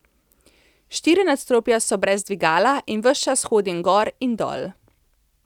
Štiri nadstropja so brez dvigala in ves čas hodim gor in dol.